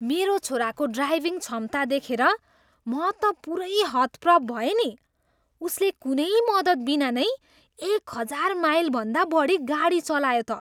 मेरो छोराको ड्राइभिङ क्षमता देखेर म त पुरै हतप्रभ भएँ नि! उसले कुनै मद्दतबिना नै एक हजार माइलभन्दा बढी गाडी चलायो त!